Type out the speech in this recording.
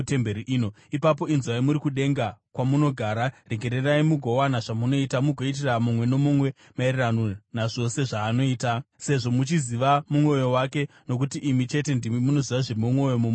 ipapo inzwai muri kudenga kwamunogara. Regererai mugowana zvamunoita; mugoitira mumwe nomumwe maererano nazvose zvaanoita, sezvo muchiziva mwoyo wake (nokuti imi chete ndimi munoziva zviri mumwoyo momunhu wose),